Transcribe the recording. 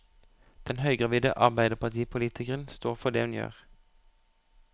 Den høygravide arbeiderpartipolitikeren står for det hun gjør.